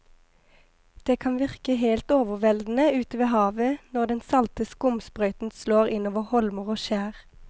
Det kan virke helt overveldende ute ved havet når den salte skumsprøyten slår innover holmer og skjær.